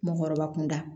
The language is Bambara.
Mɔgɔkɔrɔba kunda